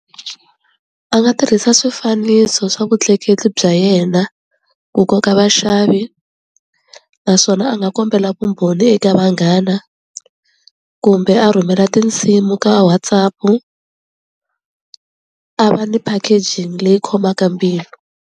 A nga tirhisa swifaniso swa vutleketli bya yena ku koka vaxavi naswona a nga kombela vumbhoni eka vanghana kumbe a rhumela tinsimu ka WhatsApp-u a va ni packaging leyi khomaka mbilu.